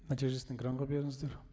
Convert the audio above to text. нәтижесін экранға беріңіздер